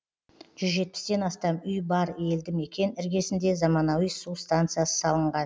жүз жетпістен астам үй бар елді мекен іргесінде заманауи су станциясы салынған